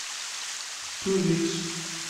ту викс